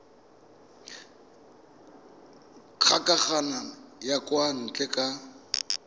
kgokagano ya kwa ntle ka